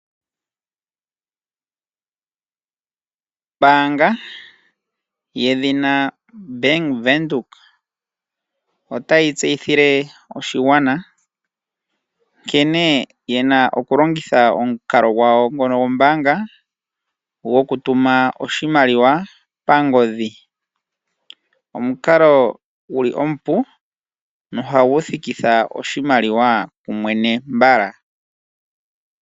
Ombaanga yedhina Bank Windhoek, otayi tseyithile oshigwana nkene ye na okulongitha omukalo gwawo ngono gombaanga gokutuma oshimaliwa pangodhi. Omukalo gu li omupu nohagu thikitha oshimaliwa kumwene mbala.